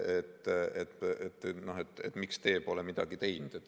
et miks teie pole midagi teinud.